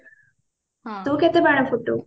ତୁ କେତେ ବାଣ ଫୁଟାଉ?